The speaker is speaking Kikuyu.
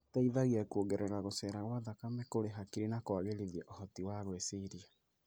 Ĩteithagia kuongerera gũcera gwa thakame kũrĩ hakiri na kũagĩrithia ũhoti wa gwĩciria.